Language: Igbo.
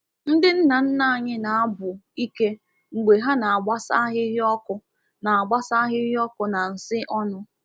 Ndị nna nna anyị na-abụ ike mgbe ha na-agbasa ahịhịa ọkụ na-agbasa ahịhịa ọkụ na nsị ọnụ.